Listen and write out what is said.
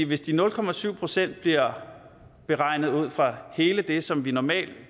hvis de nul procent procent bliver beregnet ud fra hele det som vi normalt